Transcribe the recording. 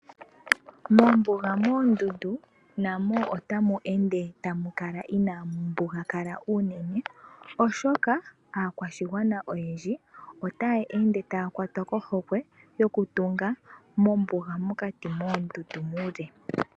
Mombuga mondundu namo otamu ende tamu kala inaau mbugakala unene oshoka aakwashigwana oyendji otaya ende taya kwatwa kohokwe yokutunga mombuga mokati moondundu muule.